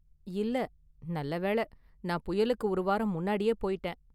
இல்ல, நல்ல​ வேள, நான் புயலுக்கு ஒரு வாரம் முன்னாடியே போயிட்டேன்.